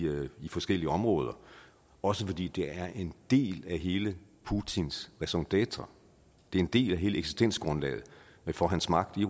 forskellige områder også fordi det er en del af hele putins raison dêtre det er en del af hele eksistensgrundlaget for hans magt i